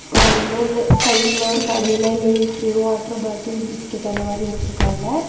இங்க வந்து இந்து சைடுல ஒரு கடையில லேசு வாட்டர் பாட்டில் பிஸ்கட் அந்த மாதிரி வச்சிருக்காங்க.